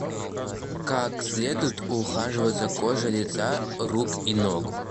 как следует ухаживать за кожей лица рук и ног